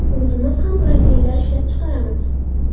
O‘zimiz ham proteinlar ishlab chiqaramiz.